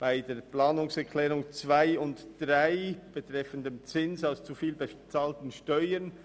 Zu den Planungserklärungen 2 und 3 betreffend den Zins für zu viel bezahlte Steuern: